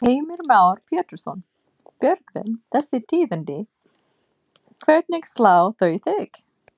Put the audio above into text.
Heimir Már Pétursson: Björgvin, þessi tíðindi, hvernig slá þau þig?